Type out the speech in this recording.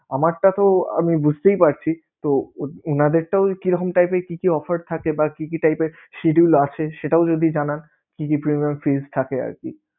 আমারটা তো আমি বুঝতেই পারছিতো উনাদেরটাও কীরকম type এর কী কী offer থাকে বা কী কী type এর schedule আছে সেটাও যদি জানান কী কী পরিমান